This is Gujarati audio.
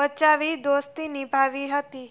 બચાવી દોસ્તી નિભાવી હતી